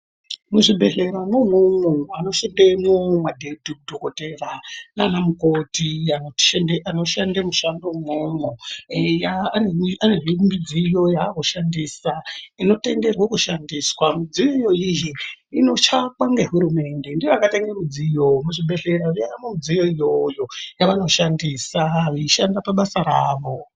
Muzvibhedhleramo imomo, vanoshandemo, madhokodhera nanamukhoti vanoshande mishando imomo eyaa vanezve midziyo yavari kushandisa inotenderwo kushandiswa. Midziyo iyoyi iyi inotsvakwa nehurumende , ndiyo yakatenge midziyo muzvibhedhleya yavamo midziyo iyoyo yavanoshandisaa veishanda pabasa ravo.